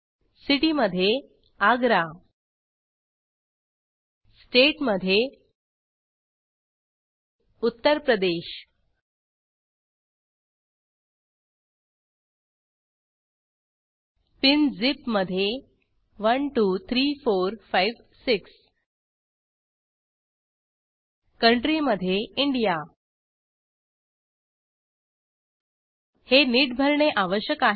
city मध्ये अग्र state मध्ये उत्तर प्रदेश pinझिप मध्ये 123456 कंट्री मध्ये इंडिया हे नीट भरणे आवश्यक आहे